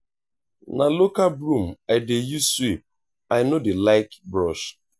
na local broom i dey use sweep i no dey like brush.